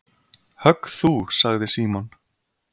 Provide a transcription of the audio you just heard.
Högg þú sagði Símon.